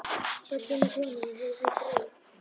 Svo kemur konan og gefur þeim brauð.